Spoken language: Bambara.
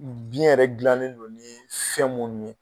Biyɛn yɛrɛ gilanen don ni fɛn minnu ye.